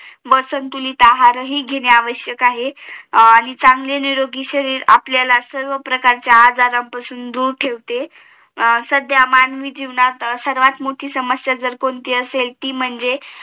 व संतुलित आहार घेणे हि आवश्यक आहे व चांगले निरोगी शरीर आपल्याला सर्व प्रकारच्या आजारापासून दूर ठेवते अं सद्य मानवी जीवनात सर्वात मोठी समस्या ती कोणती असेल ती म्हणजे